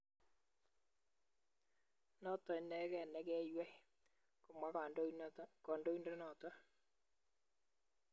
Noto inegei ne keywei, komwa kandondenoto